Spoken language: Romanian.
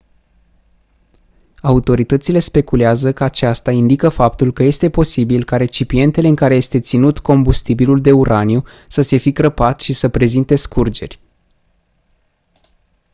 autoritățile speculează că aceasta indică faptul că este posibil ca recipientele în care este ținut combustibilul de uraniu să se fi crăpat și să prezinte scurgeri